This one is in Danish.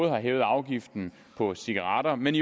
har hævet afgiften på cigaretter men